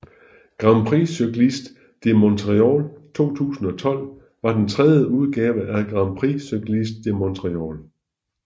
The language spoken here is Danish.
Grand Prix Cycliste de Montréal 2012 var den tredje udgave af Grand Prix Cycliste de Montréal